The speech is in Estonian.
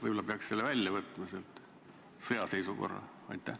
Võib-olla peaks sõjaseisukorra sealt välja võtma?